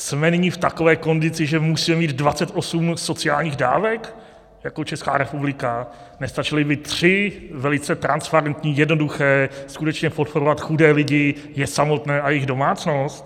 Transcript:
Jsme nyní v takové kondici, že musíme mít 28 sociálních dávek jako Česká republika, nestačily by tři velice transparentní, jednoduché, skutečně podporovat chudé lidi, je samotné a jejich domácnost?